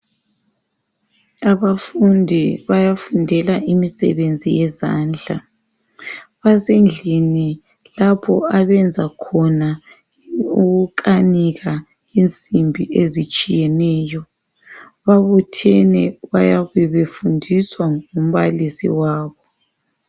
Abafundi bayafundela imisebenzi yezandla. Basendlini lapho abenza khona i okokukanika insimbi ezitshiyeneyo. Babuthene bayabe befundiswa ngumbalisi wabo.